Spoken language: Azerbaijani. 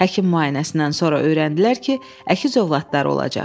Həkim müayinəsindən sonra öyrəndilər ki, əkiz övladları olacaq.